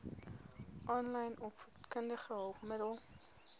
aanlyn opvoedkundige hulpmiddele